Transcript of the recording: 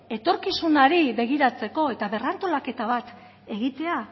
etorkizunari begiratzeko eta berrantolaketa bat egitea